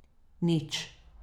Nič.